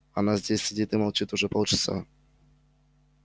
она здесь сидит и молчит уже полчаса